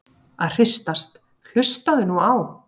að hristast- hlustaðu nú á!